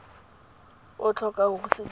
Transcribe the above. o tlhokang go se dira